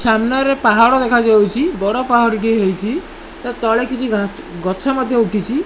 ସାମ୍ନାରେ ପାହାଡ଼ ଦେଖାଯାଉଚି ବଡ଼ ପାହାଡ଼ଟିଏ ହେଇଚି ତା ତଳେ କିଛି ଘା ଗଛ ମଧ୍ୟ ଉଠିଛି।